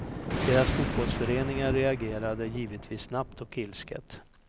Deras fotbollsföreningar reagerade givetvis snabbt och ilsket.